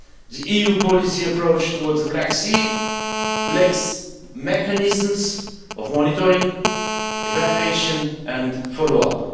The EU policy approach towards the Black Sea lacks mechanisms for monitoring, evaluation and follow up.